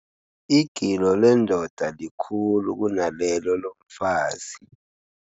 Igilo lendoda likhulu kunalelo lomfazi.